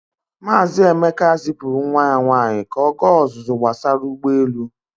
Maazị Emeka zipụrụ nwa ya nwaanyị ka ọ gaa ọzụzụ gbasara ụgbọelu.